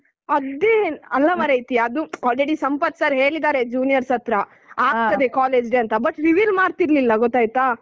ಅದ್ದೇ ಅಲ್ಲ ಮಾರಾಯ್ತಿ ಅದು already ಸಂಪತ್ sir ಹೇಳಿದ್ದಾರೆ juniors ಹತ್ರ ಆಗ್ತದೆ college day ಅಂತ but reveal ಮಾಡ್ತಿರ್ಲಿಲ್ಲ ಗೊತ್ತಾಯ್ತಾ?